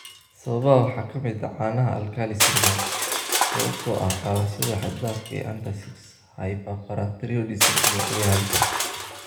Sababaha waxaa ka mid ah caanaha alkali syndrome (sababtoo ah qaadashada xad-dhaafka ah ee antacids), hyperparathyroidism, iyo cudur halis ah.